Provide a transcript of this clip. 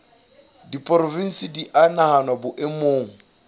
diporofensi di a nahanwa boemong